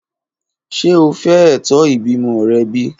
Ṣe o fẹ eto ibimọ rẹ bi?